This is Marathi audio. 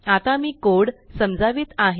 आता मी कोड समजावित आहे